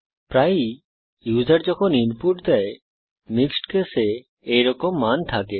প্রায়ই ইউসার যখন ইনপুট দেয় মিক্সড কেসে এইরকম মান থাকে